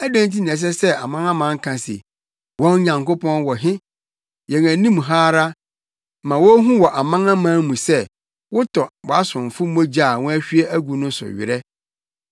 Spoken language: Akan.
Adɛn nti na ɛsɛ sɛ amanaman ka se, “Wɔn Nyankopɔn wɔ he?” Yɛn anim ha ara, ma wonhu wɔ amanaman mu sɛ wotɔ wʼasomfo mogya a wɔahwie agu no so werɛ.